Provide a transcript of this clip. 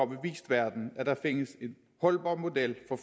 vist verden at der findes en holdbar model for